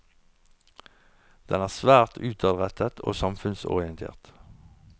Den er svært utadrettet og samfunnsorientert.